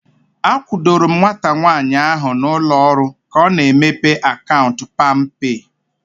A kwudoro m nwata nwaanyị ahu na ụlọ ọrụ ka ọ na-emepe akaụntụ palmpay